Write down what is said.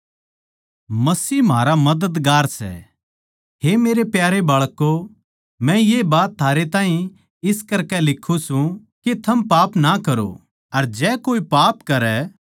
हे मेरै प्यारे बाळकों मै ये बात थारै ताहीं इस करकै लिखूँ सूं के थम पाप ना करो अर जै कोई पाप करै तो परमेसवर पिता कै धोरै म्हारा एक मददगार सै यीशु मसीह जो धर्मी सै जो म्हारे पापां की माफी खात्तर पिता तै बिनती करै सै